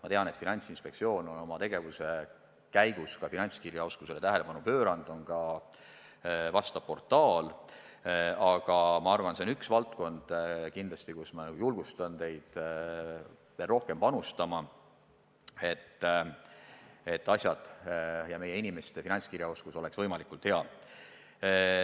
Ma tean, et Finantsinspektsioon on oma tegevuse käigus finantskirjaoskusele tähelepanu pööranud, on ka vastav portaal, aga ma arvan, et see on üks valdkond, kuhu ma julgustan teid veel rohkem panustama, et meie inimeste finantskirjaoskus oleks võimalikult hea.